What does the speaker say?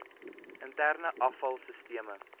interne afval sisteme